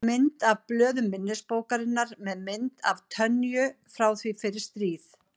Mynd af blöðum minnisbókarinnar með mynd af Tönyu frá því fyrir stríð.